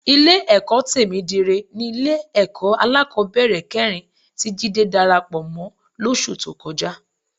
Ilé-ẹ̀kọ́ Tèmídire ni Ilé-ẹ̀kọ́ alákọ̀ọ́bẹ̀rẹ̀ kẹrin tí Jídé darapọ̀ mọ́ lóṣù tó kọjá